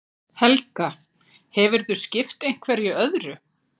Helga: Hefurðu skipt einhverju öðru?